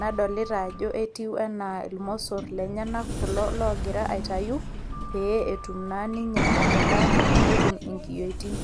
nadolita ajo etiu enaa irmosor lenyanak kulo logira aitayu, pee etum naa ninye atadanyu netum inkiyioitin.